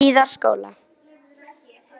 Hlíðarskóla